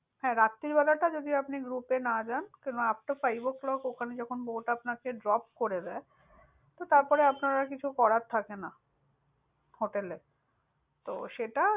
হ্যাঁ রাত্রিবেলা টা যদি আপনি group এ না। কারন after five O clock ওখানে যখন bote আপনাকে drop করে দেয়, তো তারপরে আপনার আর কিছু করার থাকে না। hotel এ। তো সেটা,